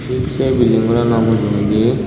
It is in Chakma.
tik se building gorano mujungedi.